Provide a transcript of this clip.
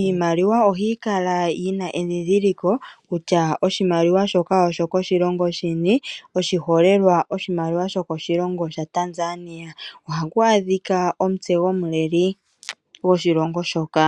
Iimaliwa ohayi kala yina edhidhiliko kutya oshimaliwa shoka osho koshilongo shini . Oshiholelwa oshimaliwa sho koshilongo shaTanzania ohaku adhika omutse gomuleli gwoshilongo shoka.